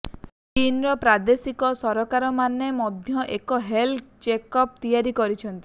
ଚୀନର ପ୍ରାଦେଶିକ ସରକାରମାନେ ମଧ୍ୟ ଏକ ହେଲ୍ଥ ଚେକ୍ ଆପ୍ ତିଆରି କରିଛନ୍ତି